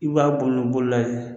I b'a bunu bola ye